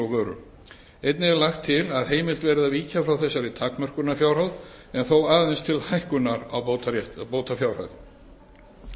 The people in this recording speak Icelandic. vöru einnig er lagt til að heimilt verði að víkja frá þessari takmörkunarfjárhæð en þó aðeins til hækkunar á bótafjárhæð